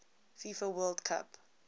fifa world cup